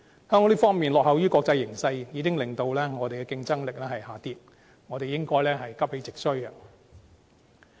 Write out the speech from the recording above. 香港在這方面落後於國際形勢，已經令我們的競爭力下跌，我們應該急起直追。